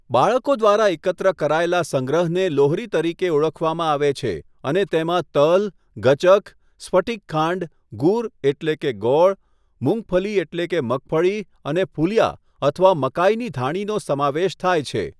બાળકો દ્વારા એકત્ર કરાયેલા સંગ્રહને લોહરી તરીકે ઓળખવામાં આવે છે અને તેમાં તલ, ગચક, સ્ફટિક ખાંડ, ગુર એટલે કે ગોળ, મૂંગફલી એટલે કે મગફળી, અને ફુલિયા અથવા મકાઇની ધાણીનો સમાવેશ થાય છે.